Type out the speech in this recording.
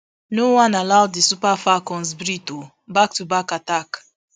no wan allow di super falcons breath o back to back attack